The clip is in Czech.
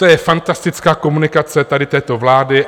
To je fantastická komunikace tady této vlády.